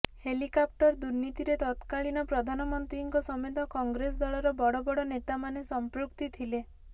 helicopter ଦୁର୍ନୀତିରେ ତତକାଳୀନ ପ୍ରଧାନମନ୍ତ୍ରୀଙ୍କ ସମେତ କଂଗ୍ରେସ ଦଳର ବଡବଡ ନେତାମାନେ ସମ୍ପୃକ୍ତି ଥିଲେ